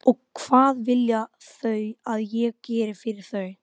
Betur en þú sem slefar upp í mann.